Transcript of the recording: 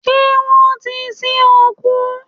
Ṣé wọ́n ti sin òkú?